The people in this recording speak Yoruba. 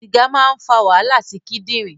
Sìgà máa ń fà wàhálà sí kindirin